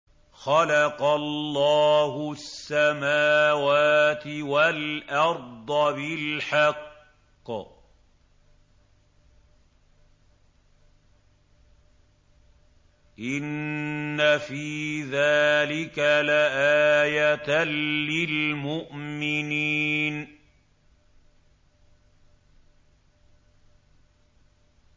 خَلَقَ اللَّهُ السَّمَاوَاتِ وَالْأَرْضَ بِالْحَقِّ ۚ إِنَّ فِي ذَٰلِكَ لَآيَةً لِّلْمُؤْمِنِينَ